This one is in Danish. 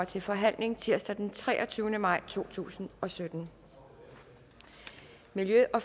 til forhandling tirsdag den treogtyvende maj to tusind og sytten miljø og